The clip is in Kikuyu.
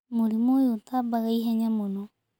Mũrimũ oyũ utabaga ihenya mũno.